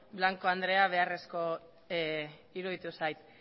blanco andrea beharrezko iruditu zait